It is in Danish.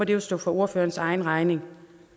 jo stå for ordførerens egen regning